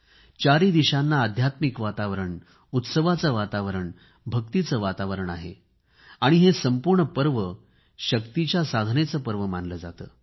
चारही दिशांना आध्यात्मिक वातावरण उत्सवाचे वातावरण भक्तीचे वातावरण आहे आणि हे संपूर्ण पर्व शक्तीच्या साधनेचे पर्व मानले जाते